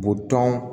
Butɔn